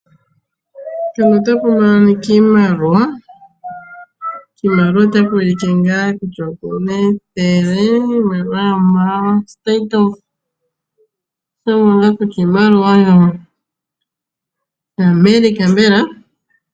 Mpano otapu moniki iimaliwa. Kiimaliwa otaku ulike ngaa kutya opuna ethele iimaliwa yomo State of oto mono ngaa kutya iimaliwa yaAmerica mbela.